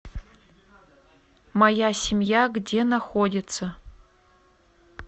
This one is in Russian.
моя семья где находится